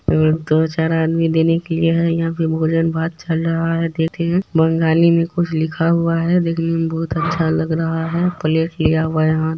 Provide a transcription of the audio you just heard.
और दो चार आदमी देने के लिए है यह पर भोजन भात चल रहा है देख सकते है बंगाली में कुछ लिख हुआ है देख ने में बहुत अच्छा लग रहा है प्लेट लिया हुआ है हाथ मे